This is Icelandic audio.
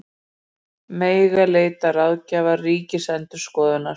Mega leita ráðgjafar Ríkisendurskoðunar